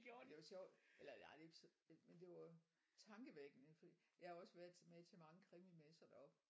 Det var sjovt eller nej det ikke men det var tankevækkende fordi jeg haar været med til mange krimimesser deroppe